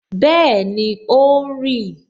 Bẹẹni, ó ń rì